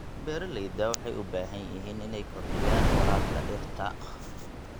Beeralayda waxay u baahan yihiin inay kordhiyaan waraabka dhirta.